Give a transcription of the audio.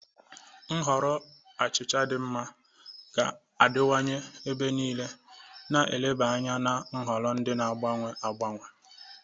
Nhọrọ achịcha dị mma ga-adịwanye ebe niile, na eleba anya na nhọrọ ndị na-agbanwe agbanwe.